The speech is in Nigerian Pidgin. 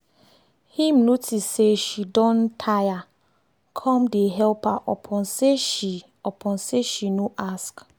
him notice say she don tire come dey help her upon say she upon say she no ask